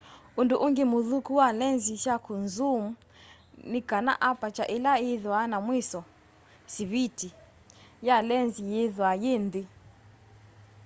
undu ungi muthuku wa lenzi sya kunzuum ni kana aparture ila ithwaa na mwiso siviti ya lenzi yithwaa yi nthi